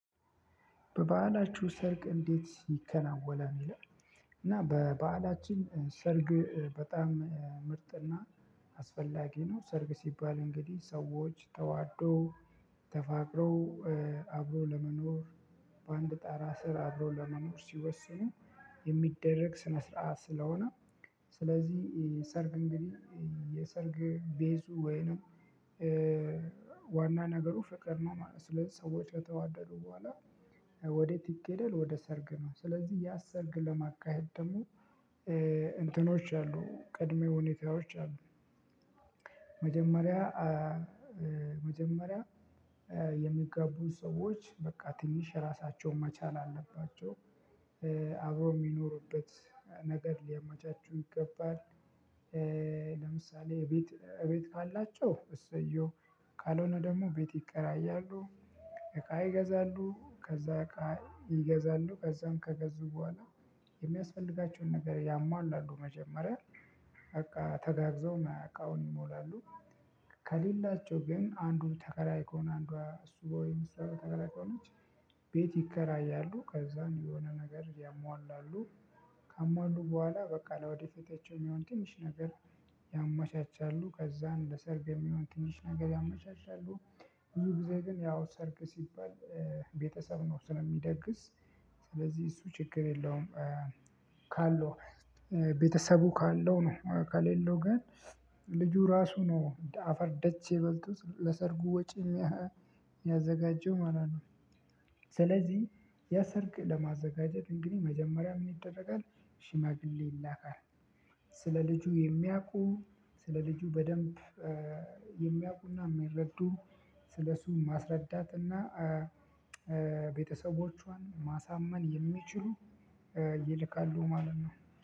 በበዓላችሁ ሰርግ እንዴት ይከናወናል? ይላል። እና በበአላችን ሰርግ በጣም ምርጥና አስፈላጊ ነው። ሰርግ ሲባል እንግዲህ ሰዎች ተዋደው ተፋቅረው አብሮ ለመኖር በአንድ ጣራ ስር አብሮ ለመኖር ሲወሰኑ የሚደረግ ስነ ስርዓት ስለሆነ ስለዚህ ሰርግ እንግዲህ የሰርግ 'ቤዙ' ወይንም ዋና ነገሩ ፍቅር ነው ማለት ነው። ስለዚህ ሰዎች ከተዋደዱ በኋላ ወዴት ይኬዳል ወደ ሰርግ ነው። ስለዚህ ያን ሰርግ ለማካሄድ ደግሞ እንትኖች አሉ ቅድመ ሁኔታዎች አሉ መጀመሪያ መጀመሪያ ሰዎች በቃ ትንሽ ራሳቸውን መቻል አለባቸው። አብሮ የሚኖርበት ነገር ሊያመቻቹ ይገባል። ለምሳሌ እቤት ካላቸው እሰየው ካልሆነ ደግሞ ቤት ይከራያሉ። እቃ ይገዛሉ። ከዛ እቃ ይገዛሉ ከዛም ከገዙ በኋላ የሚያስፈልጋቸውን ነገር ያሟላሉ መጀመሪያ በቃ ተጋግዘው ያ እቃውን ይሞላሉ። ከሌላቸው ግን አንዱን ተከራይ ከሆነ አንዷ እሱ ወይም ተከራይ ከሆነች ቤት ይከራያሉ። ከዛም የሆነ ነገር ያሟላሉ። ካሟሉ በኋላ በቃ ለወደፊት የሚሆን ትንሽ ነገር ያመቻቻሉ። ከዛ እንደ ለሰርግ የሚሆን ትንሽ ነገር ያመቻቻሉ። ብዙ ጊዜ ግን ያው ሰርግ ሲባል ቤተሰብ ነው ስለሚደግስ ስለዚህ እሱ ችግር የለውም ካለው ቤተሰቡ ካለው ነው ከሌለው ግን ልጁ ራሱ ነው አፈር ደቼ በልቶ ለሰርጉ ወጪ የሚያዘጋጀው ማለት ነው። ስለዚህ ያ ሰርግ ለማዘጋጀት እንግዲህ መጀመሪያ ምን ይደረጋል ሽማግሌ ይላካል። ስለ ልጁ የሚያውቁ ስለ ልጁ በደንብ የሚያውቁና የሚረዱ ስለሱ ማስረዳትና ቤተሰቦቿን ማሳመን የሚችሉ ይልካሉ ማለት ነው።